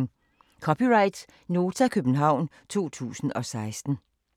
(c) Nota, København 2016